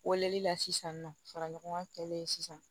Weleli la sisan nin nɔ fara ɲɔgɔn kan sisan